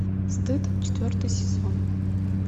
стыд четвертый сезон